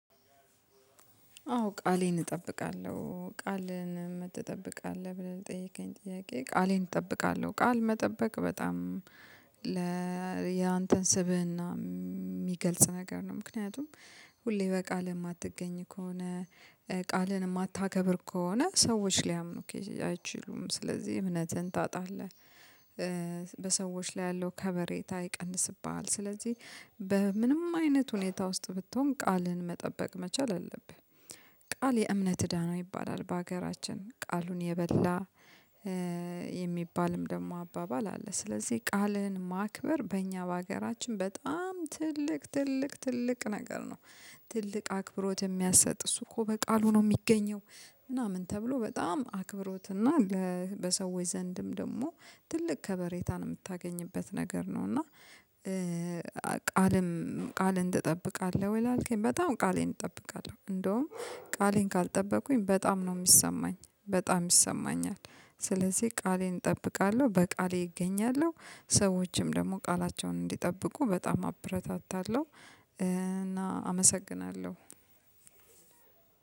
አዎ ቃሌን እጠብቃለሁ ቃልን ትጠብቃለህ ብለህ ለጠየከኝ ጥያቄ ቃሌን እጠብቃለሁ ቃል መጠበቅ በጣም ያንተን ስብህና የሚገልጽ ነገር ነው ምክንያቱም ሁሌ በቃል የማትገኝ ከሆነ ቃልን የማታከብር ከሆነ ሰዎች ሊያምኑክ አይችሉም ስለዚህ እምነትን ታጣለህ በሰዎች ላይ ያለው ከበሬታ ይቀንስብሃል ስለዚህ በምንም አይነት ሁኔታ ውስጥ ብትሆን ቃልህን መጠበቅ መቻል አለብህ ቃል የእምነት እዳ ነው ይባላል በሀገራችን ቃሉን የበላ የሚባልም ደግሞ አባባል አለ ስለዚህ ቃልህን ማክበር በእኛ በሀገራችን በጣም ትልቅ ትልቅ ትልቅ ነገር ነው ትልቅ አክብሮት የሚያሰጥ እሱ እኮ በቃሉ ነው የሚገኘው ምናምን ተብሎ በጣም አክብሮትና በሰዎች ዘንድም ደግሞ ትልቅ ከበሬታን የምታገኝበት ነገር ነው እና ቃልም ቃልን ትጠብቃለህ ወይ ላልከኝ? በጣም ቃሌን እጠብቃለሁ እንደውም ቃሌን ካልጠበኩኝ በጣም ነው የሚሰማኝ በጣም ይሰማኛል ስለዚህ ቃሌን እጠብቃለሁ በቃሌ እገኛለሁ ሰዎችም ደግሞ ቃላቸውን እንዲጠብቁ በጣም አብረታታለሁ እና አመሰግናለሁ